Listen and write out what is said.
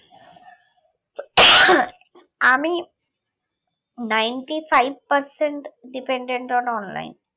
আমি ninety-five percent dependent on online